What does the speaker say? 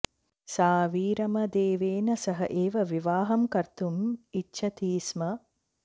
सा वीरमदेवेन सह एव विवाहं कर्तुम् इच्छति स्म